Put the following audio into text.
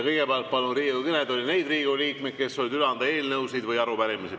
Kõigepealt palun Riigikogu kõnetooli neid Riigikogu liikmeid, kes soovivad üle anda eelnõusid või arupärimisi.